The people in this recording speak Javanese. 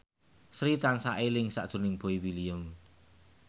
Sri tansah eling sakjroning Boy William